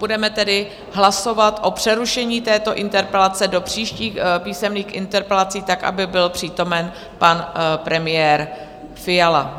Budeme tedy hlasovat o přerušení této interpelace do příštích písemných interpelací tak, aby byl přítomen pan premiér Fiala.